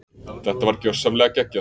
Þetta var gjörsamlega geggjað.